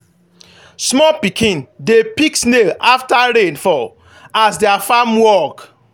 small pikin dey pick snail after rain fall as their farm work.